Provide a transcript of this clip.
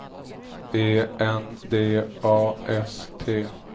E N D A S T